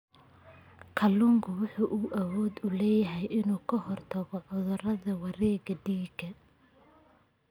Kalluunku wuxuu awood u leeyahay inuu ka hortago cudurrada wareegga dhiigga.